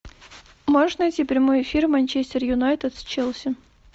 можешь найти прямой эфир манчестер юнайтед с челси